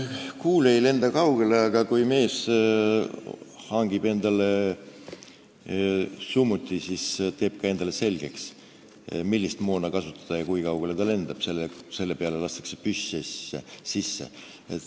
Kuul ei lenda kaugele, aga kui mees hangib endale summuti, siis teeb ta ka endale selgeks, millist moona kasutada ja kui kaugele see lendab, püss lastakse sisse.